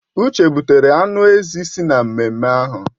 Uche butere anụ ezi si n'ememme ahụ